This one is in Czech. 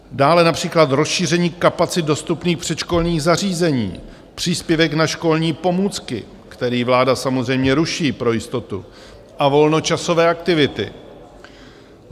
Dále například rozšíření kapacit dostupných předškolních zařízení, příspěvek na školní pomůcky, který vláda samozřejmě ruší pro jistotu, a volnočasové aktivity.